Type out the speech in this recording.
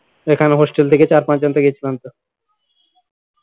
এখানে hostel থেকে চার পাঁচজন তো গেছিলাম তো